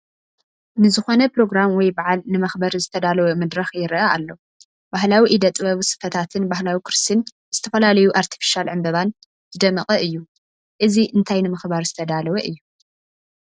ንዝኾነ ኘሮግራም ወይ በዓል ንመኽበሪ ዝተዳለወ መድረኽ ይረአ ኣሎ፡፡ ባህላዊ እደ ጥበብ ስፈታትን ባህላዊ ኩርሲን ብዝተፈላለዩ ኣርተፊሻል ዕንበባን ዝደመቐ እዩ፡፡ እዚ እንታይ ንምኽባር ዝተዳለወ እዩ?